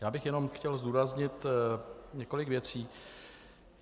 Já bych jenom chtěl zdůraznit několik věcí.